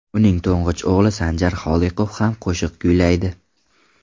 Uning to‘ng‘ich o‘g‘li Sanjar Holiqov ham qo‘shiq kuylaydi.